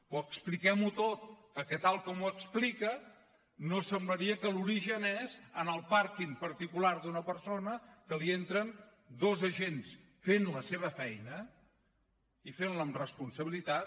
però expliquem ho tot perquè tal com ho explica no semblaria que l’origen és en el pàrquing particular d’una persona que li entren dos agents que feien la seva feina i que la feien amb responsabilitat